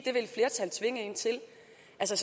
så